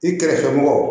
I kɛrɛfɛ mɔgɔ